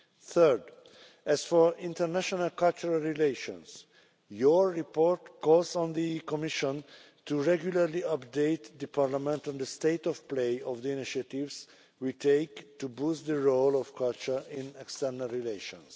Third, on international cultural relations, your report calls on the Commission to regularly update Parliament on the state of play of the initiatives we take to boost the role of culture in external relations.